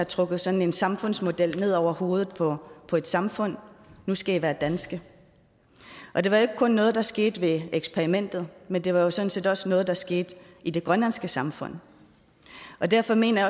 trukket sådan en samfundsmodel ned over hovedet på på et samfund nu skal i være danske og det var jo ikke kun noget der skete i eksperimentet men det var jo sådan set også noget der skete i det grønlandske samfund derfor mener